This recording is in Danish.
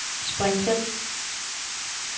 spring til